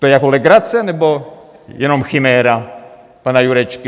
To je jako legrace, nebo jenom chiméra pana Jurečky?